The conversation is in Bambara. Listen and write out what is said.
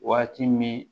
Waati min